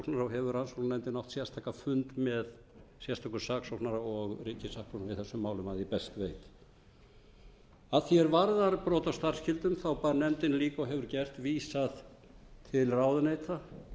hefur verið til saksóknara og hefur rannsóknarnefndin átt sérstakan fund með sérstökum saksóknara og ríkissaksóknara í þessum málum að því er ég best veit að því er varðar brot á starfsskyldum bar nefndinni líka og hefur gert vísað til ráðuneyta